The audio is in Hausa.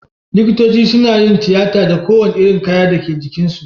Likitoci sunayin tiyata da ko wani irin kaya Dake jikin su